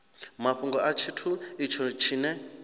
mafhungo a tshithu itsho tshine